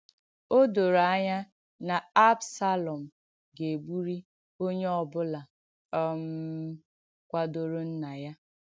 Ọ dòrò ànyá nà Absalọm gà-ègbùrị̀ onyè ọ bùlà um kwàdòrò nnà ya.